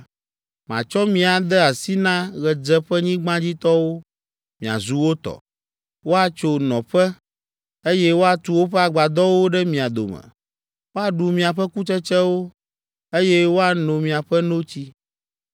matsɔ mi ade asi na Ɣedzeƒenyigbadzitɔwo, miazu wo tɔ. Woatso nɔƒe, eye woatu woƒe agbadɔwo ɖe mia dome; woaɖu miaƒe kutsetsewo, eye woano miaƒe notsi.